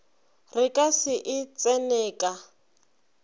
re ka se e tseneka